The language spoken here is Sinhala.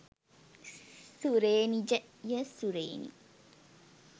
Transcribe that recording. සුරේනිජ ය සුරේනි